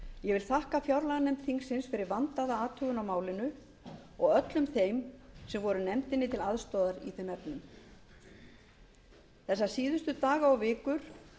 ég vil þakka fjárlaganefnd þingsins fyrir vandaða athugun á málinu og öllum þeim sem voru nefndinni til aðstoðar í þeim efnum þessa síðustu daga og vikur